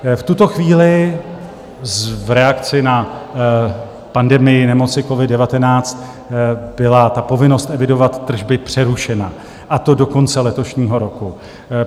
V tuto chvíli v reakci na pandemii nemoci covid-19 byla povinnost evidovat tržby přerušena, a to do konce letošního roku.